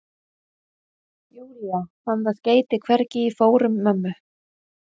Júlía, fann það skeyti hvergi í fórum mömmu.